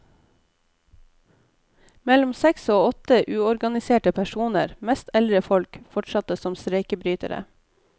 Mellom seks og åtte uorganiserte personer, mest eldre folk, fortsatte som streikebrytere.